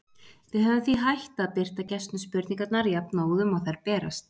Við höfum því hætt að birta gestum spurningarnar jafnóðum og þær berast.